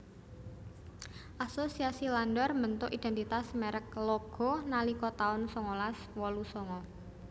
Asosiasi Landor mbentuk identitas merek Loggo nalika tahun songolas wolu songo